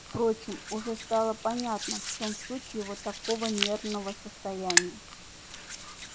впрочем уже стало понятно в чём суть его такого нервного состояния